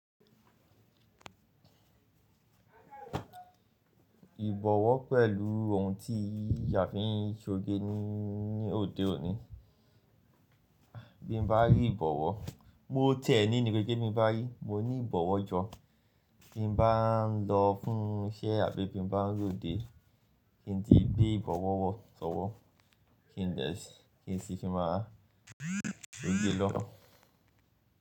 Ìbọ̀wọ́ pẹ̀lú ohun tí a fi ń ṣe oge ní òde òní, bí n bá rí ìbọ̀wọ́, mo ti e ní ni ke sepe binbari mo ní ìbọ̀wọ́ jọ. Bí n bá ń lọ fún iṣẹ́ àbí bí n bá ń lòde, kí n tíì gbé ìbọ̀wọ́ wọ̀sọ́wọ́, kí n dè kí n sì fi máa gbé e lọ.